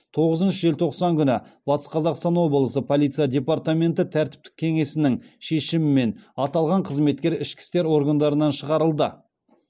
тоғызыншы желтоқсан күні батыс қазақстан облысы полиция департаменті тәртіптік кеңесінің шешімімен аталған қызметкер ішкі істер органдарынан шығарылды